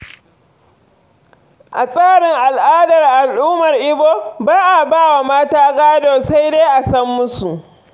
A tsarin al’adar al’ummar Igbo, ba a ba wa mata gado, sai dai a sam musu.